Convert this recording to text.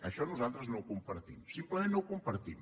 això nosaltres no ho compartim simplement no ho compartim